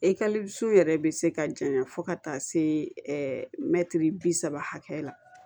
yɛrɛ bɛ se ka janya fo ka taa se mɛtiri bi saba hakɛ la